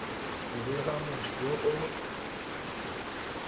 go bega motho yo o